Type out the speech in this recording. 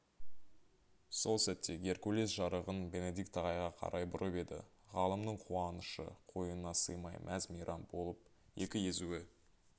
сол сәтте геркулес жарығын бенедикт ағайға қарай бұрып еді ғалымның қуанышы қойнына сыймай мәз-мейрам болып екі езуі